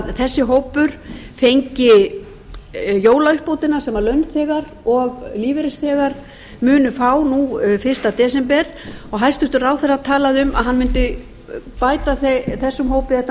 hvort þessi hópur fengi jólauppbótina sem launþegar og lífeyrisþegar munu fá nú fyrsta desember og hæstvirtur ráðherra talaði um að hann mundi bæta þessum hópi þetta